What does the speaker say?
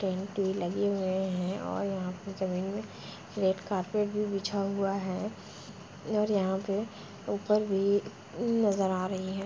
टेंटे लगे हुए हैं और यहाँ पे ज़मीन में रेड कारपेट भी बिछा हुआ है और यहाँ पे ऊपर भी न् नज़र आ रही हैं।